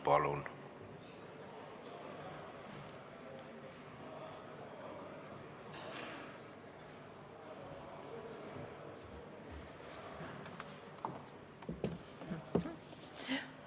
Palun!